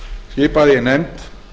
skipaði ég nefnd